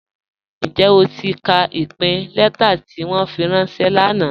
Njẹ́ o ti ka ipin lẹ̀tà ti wọn fi ranṣẹ̀ lánà?